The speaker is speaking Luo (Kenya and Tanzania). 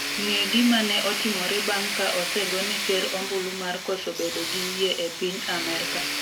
ng'e gima ne otimore bang' ka osegone ker ombulu mar koso bedo gi yie e piny Amerka